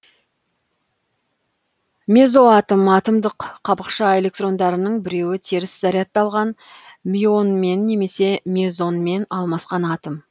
мезоатом атомдық қабықша электрондарының біреуі теріс зарядталған мюонмен немесе мезонмен алмасқан атом